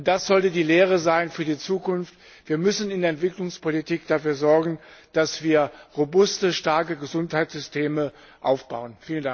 Und das sollte die Lehre für die Zukunft sein Wir müssen in der Entwicklungspolitik dafür sorgen, dass wir robuste, starke Gesundheitssysteme aufbauen.